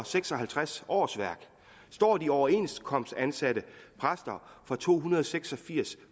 seks og halvtreds årsværk står de overenskomstansatte præster for to hundrede og seks og firs